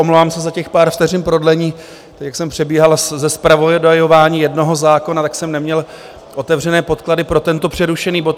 Omlouvám se za těch pár vteřin prodlení, jak jsem přebíhal ze zpravodajování jednoho zákona, tak jsem neměl otevřené podklady pro tento přerušený bod.